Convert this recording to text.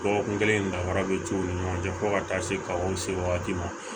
Dɔgɔkun kelen danfara be ci u ni ɲɔgɔn cɛ fo ka taa se kaw se wagati ma